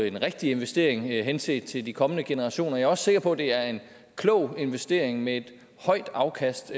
en rigtig investering henset til de kommende generationer og jeg er også sikker på at det er en klog investering med et højt afkast